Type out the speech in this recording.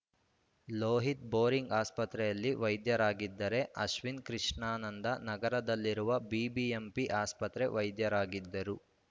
Lohith Bowring ಆಸ್ಪತ್ರೆಯಲ್ಲಿ ವೈದ್ಯರಾಗಿದ್ದರೆ ಅಶ್ವಿನಿ ಕೃಷ್ಣಾನಂದ ನಗರದಲ್ಲಿರುವ ಬಿಬಿಎಂಪಿ ಆಸ್ಪತ್ರೆ ವೈದ್ಯರಾಗಿದ್ದರು